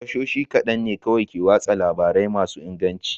Tashoshi kaɗan ne kawai ke watsa labarai masu inganci.